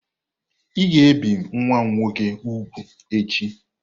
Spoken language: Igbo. Ị ga-ebi nwa m nwoke úgwù echi!